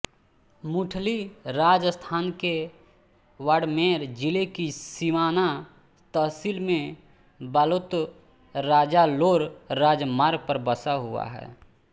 मूठली राजस्थान के बाड़मेर जिले की सिवाना तहसील में बालोतराजालोर राजमार्ग पर बसा हुआ है